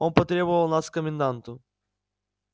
он потребовал нас к коменданту